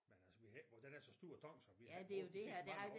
Men altså vi har ikke den er så stor og tung så vi har ikke brugt den de sidste mange år